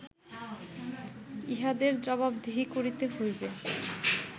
ইঁহাদের জবাবদিহি করিতে হইবে